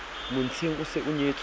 montsheng o se a nyetswe